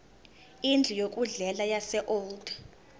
indlu yokudlela yaseold